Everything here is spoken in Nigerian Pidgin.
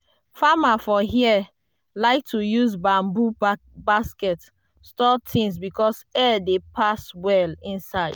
farmers for here like to use bamboo basket store things because air dey pass well inside.